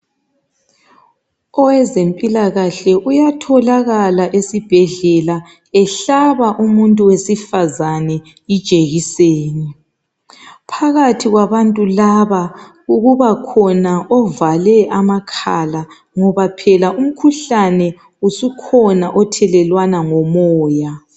Owezempilakahle uyatholakala esibhedlela ehlaba umuntu wesifazane Ijekiseni. Phakathi kwabantu laba kubakhona ovale amakhala ngoba phela umkhuhlane usukhona othelelwana ngomoya.